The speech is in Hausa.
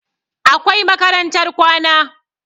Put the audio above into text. Akwai makarantar kwana